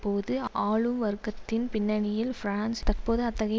போது ஆளும் வர்க்கத்தின் பின்னணியில் பிரான்ஸ் தற்போது அத்தகைய